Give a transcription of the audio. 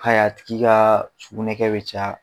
a tigi ka sugunɛkɛ bɛ caya.